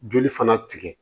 Joli fana tigɛ